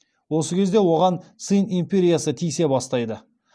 осы кезде оған цинь империясы тиісе бастайды